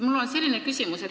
Mul on selline küsimus.